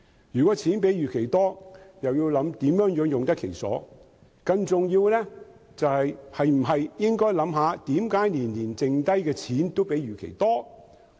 如果盈餘較預期多，便要考慮如何用得其所；更重要的是，政府是否應想想為何每年盈餘也較預期多？